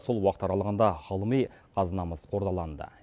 сол уақыт аралығында ғылыми қазынамыз қордаланды